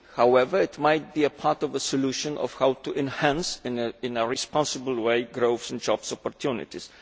However it might be part of the solution of how to enhance, in a responsible way, growth and jobs opportunities.